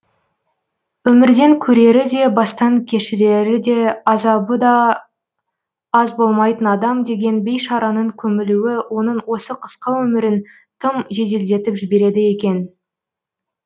өмірден көрері де бастан кешірері де азабы да аз болмайтын адам деген бейшараның көмілуі оның осы қысқа өмірін тым жеделдетіп жібереді екен